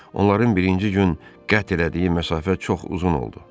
Onların birinci gün qətl elədiyi məsafə çox uzun oldu.